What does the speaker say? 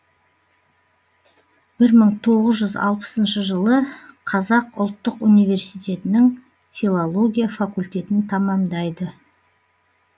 бір мың тоғыз жүз алпысыншы жылы қазақ ұлттық университетінің филология факультетін тамамдайды